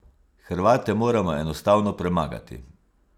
Hrvate moramo enostavno premagati.